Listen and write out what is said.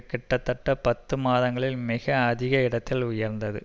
கிட்டத்தட்ட பத்து மாதங்களில் மிக அதிக இடத்தில் உயர்ந்தது